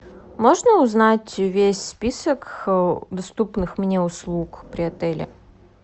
можно узнать весь список доступных мне услуг при отеле